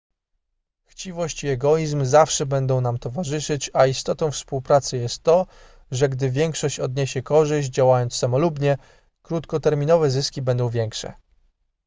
chciwość i egoizm zawsze będą nam towarzyszyć a istotą współpracy jest to że gdy większość odniesie korzyść działając samolubnie krótkoterminowe zyski będą większe